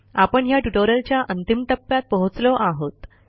आपण ह्या ट्युटोरियलच्या अंतिम टप्प्यात पोहोचलो आहोत